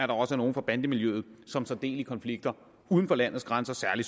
der også er nogle fra bandemiljøet som tager del i konflikter uden for landets grænser særlig